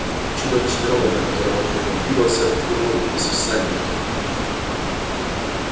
чудовищный робот на котором он ехал двигался двигался к нему без всадника